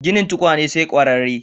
Ginin tukunya sai ƙwararre.